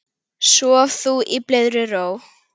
Sof þú í blíðri ró.